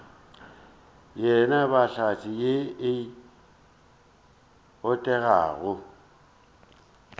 yena hlatse ye e botegago